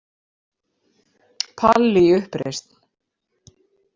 Palli í uppreisn.